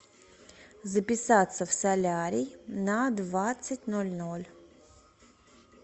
записаться в солярий на двадцать ноль ноль